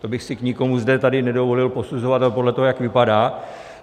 To bych si k nikomu zde tady nedovolil, posuzovat ho podle toho, jak vypadá.